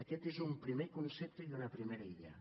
aquest és un primer concepte i una primera idea